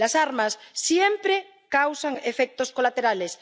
Las armas siempre causan efectos colaterales.